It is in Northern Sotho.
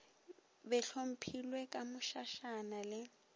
be hlophilwe ka mošašana le